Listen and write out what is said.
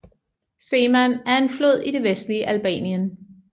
Seman er en flod i det vestlige Albanien